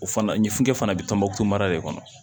O fana ɲinfukɛ fana bɛ tɔnbɔkutu mara de kɔnɔ